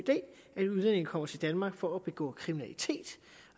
idé at udlændinge kommer til danmark for at begå kriminalitet